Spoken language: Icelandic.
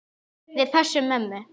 Við pössum mömmu.